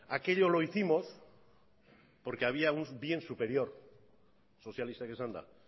aquello lo hicimos porque había un bien superior sozialistak esanda